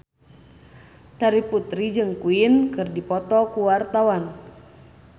Terry Putri jeung Queen keur dipoto ku wartawan